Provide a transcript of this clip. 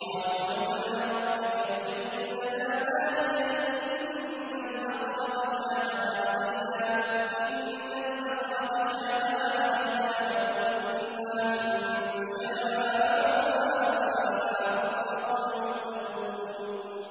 قَالُوا ادْعُ لَنَا رَبَّكَ يُبَيِّن لَّنَا مَا هِيَ إِنَّ الْبَقَرَ تَشَابَهَ عَلَيْنَا وَإِنَّا إِن شَاءَ اللَّهُ لَمُهْتَدُونَ